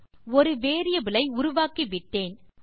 okay ஒரு variable ஐ உருவாக்கிவிட்டேன்